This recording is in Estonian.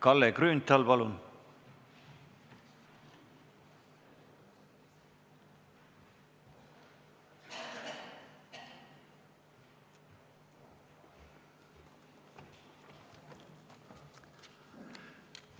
Kalle Grünthal, palun!